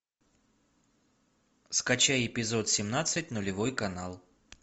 скачай эпизод семнадцать нулевой канал